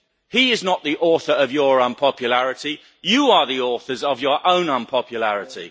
He is not the author of your unpopularity, you are the authors of your own unpopularity.